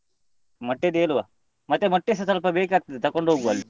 ಮೊಟ್ಟೆಯದ್ದು ಹೇಳುವ, ಮತ್ತೆ ಮೊಟ್ಟೆಸ ಸ್ವಲ್ಪ ಬೇಕಾಗ್ತದೆ ತಗೊಂಡು ಹೋಗುವ ಅಲ್ಲಿ.